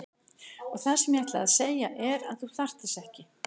Og það sem ég ætlaði að segja er að þú þarft þess ekki.